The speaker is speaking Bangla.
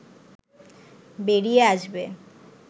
বেরিয়ে আসবে